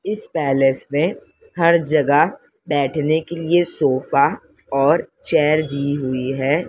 इस पैलेस में हर जगह बैठने के लिए सोफा और चेयर दी हुई है।